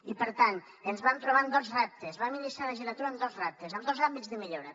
i per tant ens vam trobar amb dos reptes vam iniciar la legislatura amb dos reptes amb dos àmbits de millora